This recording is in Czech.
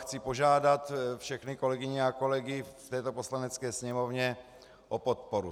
Chci požádat všechny kolegyně a kolegy v této Poslanecké sněmovně o podporu.